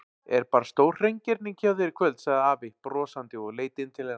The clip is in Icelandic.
Er bara stórhreingerning hjá þér í kvöld sagði afi brosandi og leit inn til hennar.